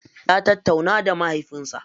Ya tattauna da mahaifinsa.